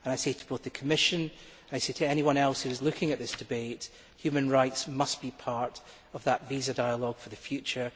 I say to the Commission and to anyone else who is looking at this debate human rights must be part of that visa dialogue for the future.